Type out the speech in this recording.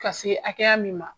Ka se hakɛya min ma.